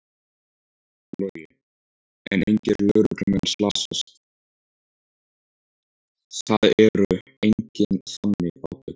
Logi: En engir lögreglumenn slasast, það eru engin þannig átök?